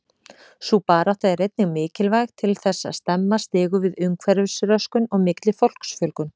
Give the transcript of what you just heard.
Sú barátta er einnig mikilvæg til þess að stemma stigu við umhverfisröskun og mikilli fólksfjölgun.